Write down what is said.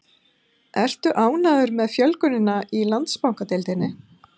Ertu ánægður með fjölgunina í Landsbankadeildinni?